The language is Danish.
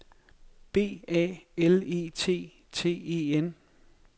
B A L E T T E N